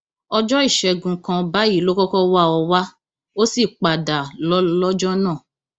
ọjọ ìṣègùn kan báyìí ló kọkọ wá ọ wá ó sì padà lọ lọjọ náà